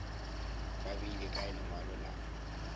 ba beile kae lengwalo la